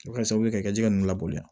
O bɛ kɛ sababu ye ka ji nunnu labaloya